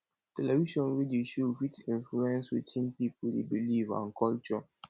television wey dey show fit influence wetin people dey believe and culture